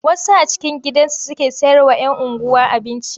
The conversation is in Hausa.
Wasu a cikin gidajensu suke sayarwa 'yan unguwa abinci.